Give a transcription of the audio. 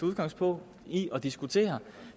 udgangspunkt i at diskutere